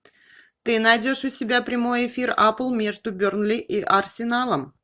ты найдешь у себя прямой эфир апл между бернли и арсеналом